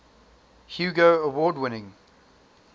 hugo award winning